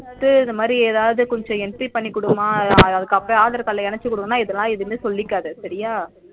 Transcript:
குடுத்து இந்தமாதிரி எதாவது கொஞ்சம் entry பண்ணிக்குடுமா அதுக்கப்றம் aadhar card ல எனச்சிக்குடு இதல எதுவும் சொல்லிக்காத சரியா